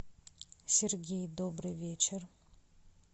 сергей добрый вечер